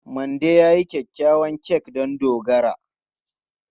Mandy ta yi kyakkyawar kek don Dogara.